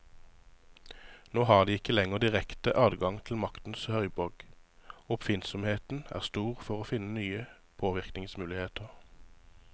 Nå har de ikke lenger direkte adgang til maktens høyborg, og oppfinnsomheten er stor for å finne nye påvirkningsmuligheter.